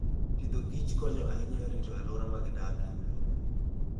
Agriculture and Foodkonyo ahinya e rito alwora ma gidakie.